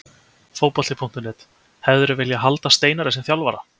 Fótbolti.net: Hefðirðu viljað halda Steinari sem þjálfara?